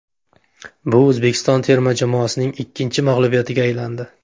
Bu O‘zbekiston terma jamoasining ikkinchi mag‘lubiyatiga aylandi.